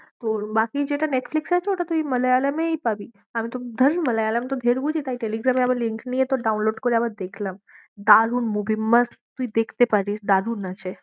ও বাকি যেটা নেটফ্লিক্সে আছে ওটা তুই মালয়ালমেই পাবি, আমি তো ধ্যার মালয়ালম তো ঢের বুঝি তাই টেলিগ্রামে আবার link নিয়ে তোর download করে আবার দেখলাম, দারুন movie মাস্ত, তুই দেখতে পারিস, দারুন আছে।